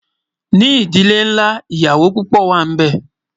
ní ìdílé nlá, ìyàwó púpò wà nì bé